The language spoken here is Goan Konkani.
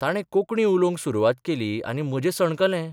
ताणे कोंकणी उलोवंक सुरवात केली आनी म्हजें सणकलें.